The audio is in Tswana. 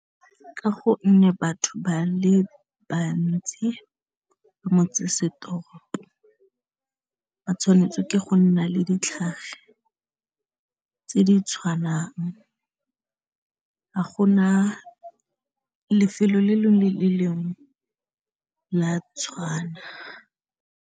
Ka gonne batho ba le bantsi motsesetoropo ba tshwanetse ke go nna le ditlhare tse di tshwanang ha go na lefelo le lengwe le le lengwe la tshwana.